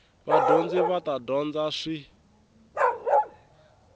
vadyondzi va ta dyondza swin